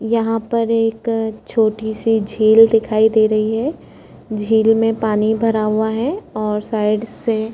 यहाँ पर एक छोटी सी झील दिखाई दे रही है झील में पानी भरा हुआ है और साइड से--